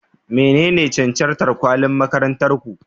Menene cancantar kwalin makarantar ku?